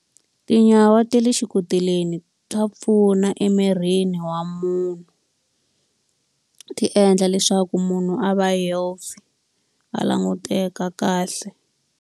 Tinyawa ta le xikoteleni ta pfuna emirini wa munhu, ti endla leswaku munhu a va healthy, a languteka kahle.